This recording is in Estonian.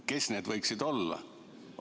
Kes need võiksid olla?